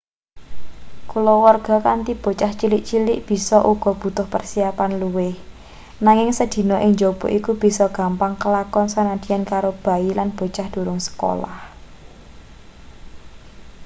kulawarga kanthi bocah cilik-cilik bisa uga butuh persiapan luwih nanging sedina ing njaba iku bisa gampang kelakon sanadyan karo bayi lan bocah durung sekolah